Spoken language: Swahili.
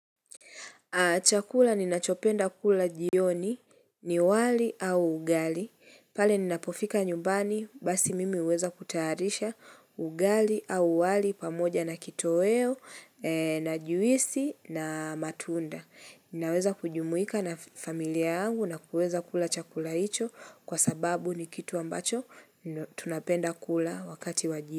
Chakula ninachopenda kula jioni ni wali au ugali. Pale ninapofika nyumbani basi mimi huweza kutayarisha ugali au wali pamoja na kitoweo na juisi na matunda. Ninaweza kujumuika na familia yangu na kuweza kula chakula hicho kwa sababu ni kitu ambacho tunapenda kula wakati wa jio.